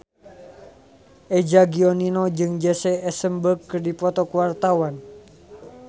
Eza Gionino jeung Jesse Eisenberg keur dipoto ku wartawan